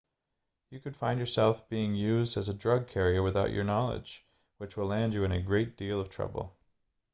you could find yourself being used as a drug carrier without your knowledge which will land you in a great deal of trouble